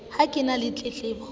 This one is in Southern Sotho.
ha ke na le tletlebo